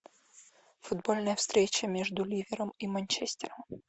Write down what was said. футбольная встреча между ливером и манчестером